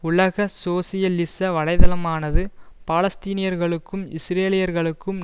உலக சோசியலிச வலைதளமானது பாலஸ்தீனியர்களுக்கும் இஸ்ரேலியர்களுக்கும்